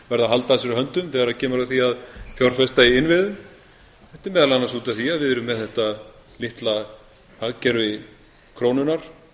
verða að halda að sér höndum er kemur að því að fjárfesta í innviðum þetta er meðal annars út af því að við erum með þetta litla hagkerfi krónunnar